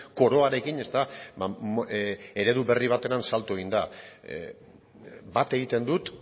koroarekin eredu berri batera salto eginda bat egiten dut